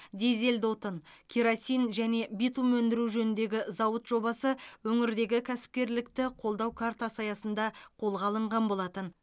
дизельді отын керосин және битум өндіру жөніндегі зауыт жобасы өңірдегі кәсіпкерлікті қолдау картасы аясында қолға алынған болатын